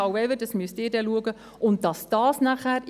However, dass müssen Sie dann entscheiden.